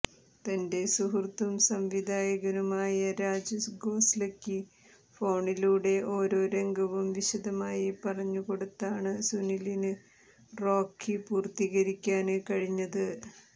തന്റെ സുഹൃത്തും സംവിധായകനുമായ രാജ് ഖോസ്ലെയ്ക്ക് ഫോണിലൂടെ ഓരോ രംഗവും വിശദമായി പറഞ്ഞു കൊടുത്താണ് സുനിലിന് റോക്കി പൂര്ത്തീകരിക്കാന് കഴിഞ്ഞത്